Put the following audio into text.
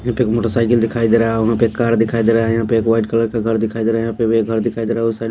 यहां पर एक मोटरसाइकिल दिखाई दे रहा है औ वहां पर कार दिखाई दे रहा है यहां पर एक वाइट कलर का घर दिखाई दे रहा है यहां पर वे घर दिखाई दे रहा उस साइड --